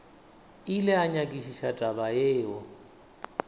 ile a nyakišiša taba yeo